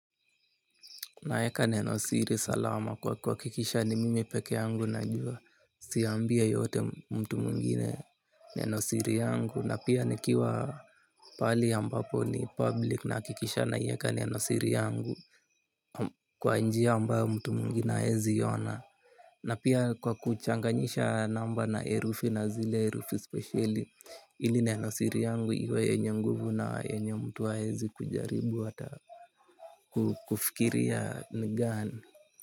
Naieka nenosiri salama kwa kuhakikisha ni mimi pekee yangu najua siambii yeyote mtu mwengine nenosiri yangu na pia nikiwa pali ambapo ni public nahakikisha naieka nenosiri yangu kwa njia ambayo mtu mwingine haezi iona. Na pia kwa kuchanganyisha namba na herufi na zile herufi spesheli ili nenosiri yangu iwe yenye nguvu na yenye mtu haezi kujaribu hata kufikiria ni gani.